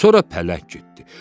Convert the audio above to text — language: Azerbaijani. Sonra pələk getdi.